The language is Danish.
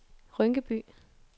Rynkeby